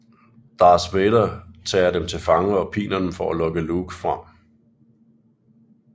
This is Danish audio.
Darth Vader tager dem til fange og piner dem for at lokke Luke frem